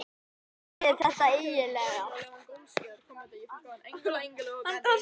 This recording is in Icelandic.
Hvernig er þetta eiginlega?